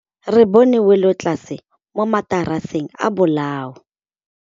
Re bone wêlôtlasê mo mataraseng a bolaô.